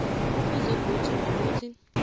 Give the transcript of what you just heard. kufuze godu nokuthi